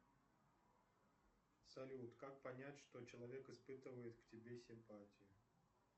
салют как понять что человек испытывает к тебе симпатию